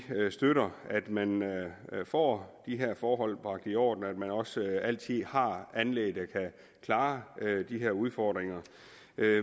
støtter at man får de her forhold bragt i orden og at man også altid har anlæg der kan klare de udfordringer